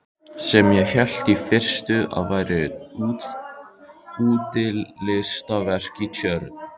Sem ég hélt í fyrstu að væri útilistaverk í tjörn.